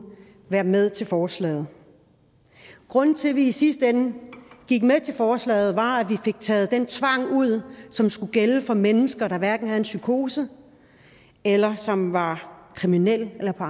være med til forslaget grunden til at vi i sidste ende gik med til forslaget var at vi fik taget den tvang ud som skulle gælde for mennesker der hverken havde en psykose eller som var kriminel eller på